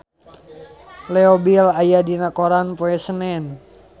Leo Bill aya dina koran poe Senen